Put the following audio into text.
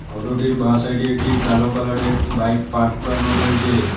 Photo -টির বা side -এ একটি কালো কালার -এর বাইক পার্ক করানো রয়েছে।